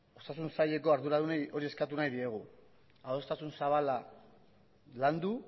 osasun saileko arduradunei hori eskatu nahi diegu adostasun zabala landu